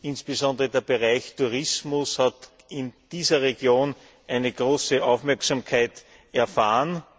Insbesondere der Bereich Tourismus hat in dieser Region eine große Aufmerksamkeit erfahren.